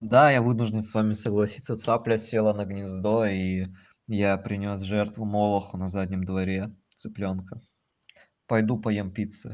да я вынужден с вами согласиться цапля села на гнездо и я принёс жертву молоху на заднем дворе цыплёнка пойду поем пиццы